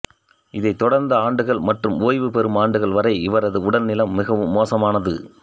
இதை தொடர்ந்த ஆண்டுகள் மற்றும் ஓய்வு பெறும் ஆண்டுகள் வரை இவரது உடல்நிலம் மிகவும் மோசமானது